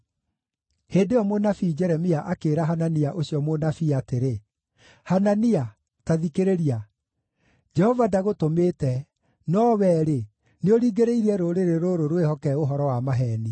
Hĩndĩ ĩyo mũnabii Jeremia akĩĩra Hanania ũcio mũnabii atĩrĩ, “Hanania, ta thikĩrĩria! Jehova ndagũtũmĩte, no wee-rĩ, nĩũringĩrĩirie rũrĩrĩ rũrũ rwĩhoke ũhoro wa maheeni.